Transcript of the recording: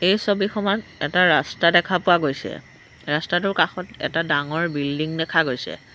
এই ছবিখনত এটা ৰাস্তা দেখা পোৱা গৈছে ৰাস্তাটোৰ কাষত এটা ডাঙৰ বিল্ডিং দেখা গৈছে।